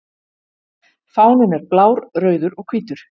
Fáninn er blár, rauður og hvítur.